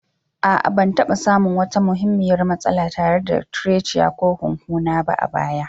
A'a, Ban taɓa samun wata muhimmiyar matsala tare da trachea ko hunhuna ba a baya.